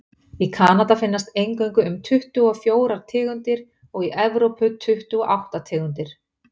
í kanada finnast eingöngu um tuttugu og fjórir tegundir og í evrópu tuttugu og átta tegundir